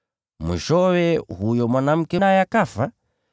Mwishowe, yule mwanamke naye akafa.